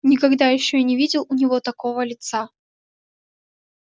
никогда ещё я не видел у него такого лица